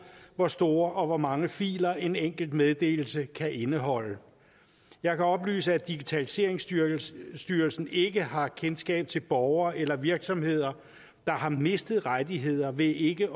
hvor store og hvor mange filer en enkelt meddelelse kan indeholde jeg kan oplyse at digitaliseringsstyrelsen ikke har kendskab til borgere eller virksomheder der har mistet rettigheder ved ikke